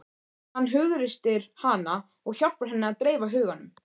Hann hughreystir hana og hjálpar henni að dreifa huganum.